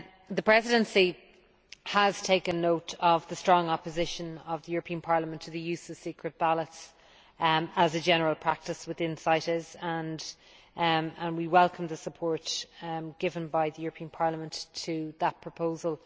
The Presidency has taken note of the strong opposition of the European Parliament to the use of secret ballots as a general practice within CITES, and we welcome the support given by the European Parliament to that proposal.